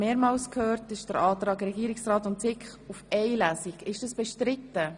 Das ist der Antrag von Regierungsrat und SiK, nur eine Lesung durchzuführen.